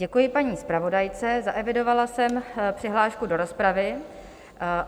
Děkuji paní zpravodajce, zaevidovala jsem přihlášku do rozpravy.